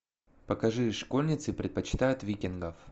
покажи школьницы предпочитают викингов